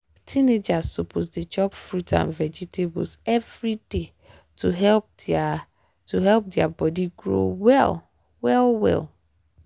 teenagers suppose dey chop fruit and vegetables every day to help their to help their body grow well well.